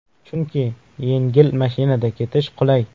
Chunki yengil mashinada ketish qulay.